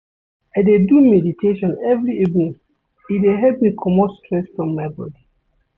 I dey do meditation every evening, e dey help me comot stress from my bodi.